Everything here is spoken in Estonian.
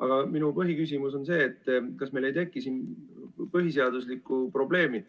Aga minu põhiküsimus on see, kas meil ei teki siin põhiseaduslikku probleemi,